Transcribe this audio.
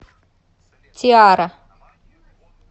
тиара